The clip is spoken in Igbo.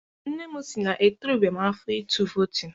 Nne m sị na etorubeghị m afọ ịtụ vootu.